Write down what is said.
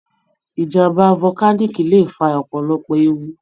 Ìjàm̀bá volcanic lè fa ọ̀pọ̀lọpọ̀ ewu.